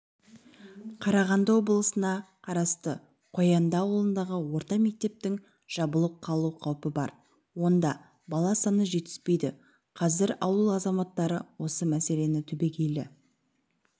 қарағанды облысына қарасты қоянды ауылындағы орта мектептің жабылып қалу қаупі бар онда бала саны жетіспейді қазір ауыл азаматтары осы мәселені түбегейлі